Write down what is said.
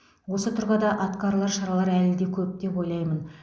осы тұрғыда атқарылар шаралар әлі де көп деп ойлаймын